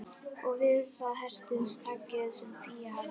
Og við það hertist takið sem Fía hafði á